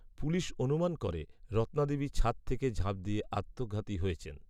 police অনুমান করে, রত্নাদেবী ছাদ থেকে ঝাঁপ দিয়ে আত্মঘাতী হয়েছেন